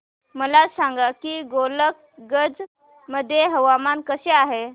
मला सांगा की गोलकगंज मध्ये हवामान कसे आहे